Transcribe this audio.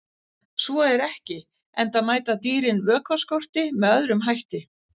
Svo er ekki, enda mæta dýrin vökvaskorti með öðrum hætti.